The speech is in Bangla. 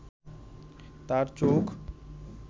তার চোখ